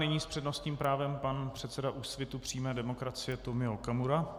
Nyní s přednostním právem pan předseda Úsvitu přímé demokracie Tomio Okamura.